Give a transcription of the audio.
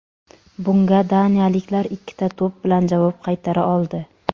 Bunga daniyaliklar ikkita to‘p bilan javob qaytara oldi.